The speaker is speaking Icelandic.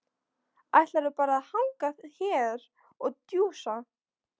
Ætlarðu bara að hanga hér og djúsa?